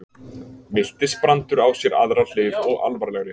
Miltisbrandur á sér aðra hlið og alvarlegri.